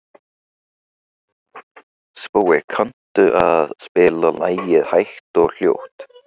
Spói, kanntu að spila lagið „Hægt og hljótt“?